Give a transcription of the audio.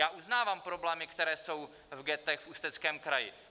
Já uznávám problémy, které jsou v ghettech v Ústeckém kraji.